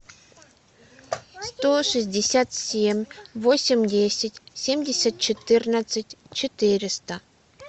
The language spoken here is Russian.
сто шестьдесят семь восемь десять семьдесят четырнадцать четыреста